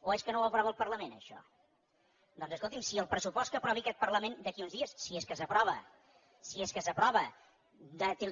o és que no ho aprova el parlament això doncs escolti’m si el pressupost que aprovi aquest parlament d’aquí a uns dies si és que s’aprova si és que s’aprova